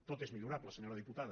tot és millorable senyora diputada